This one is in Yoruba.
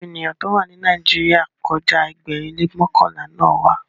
Àwọn ènìyàn to wa ni Nàìjíríà kọja Ẹgbẹrin le mọkanla na wà.